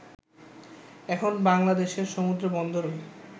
এখন বাংলাদেশের সমুদ্রবন্দরও